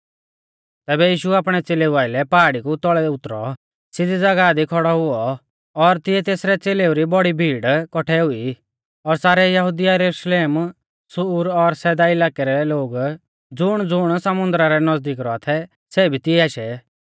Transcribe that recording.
तैबै यीशु आपणै च़ेलेऊ आइलै पहाड़ी कु तौल़ै उतरौ सिधी ज़ागाह दी खौड़ौ हुऔ और तिऐ तेसरै च़ेलेऊ री बौड़ी भीड़ कौठै हुई और सारै यहुदिया यरुशलेम सूर सैदा इलाकै रै लोग ज़ुणज़ुण समुन्दरा रै नज़दीक रौआ थै सै भी तिऐ आशै